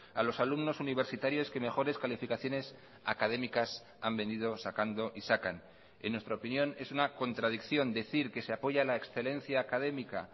a los alumnos universitarios que mejores calificaciones académicas han venido sacando y sacan en nuestra opinión es una contradicción decir que se apoya la excelencia académica